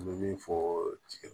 N bɛ min fɔ tigi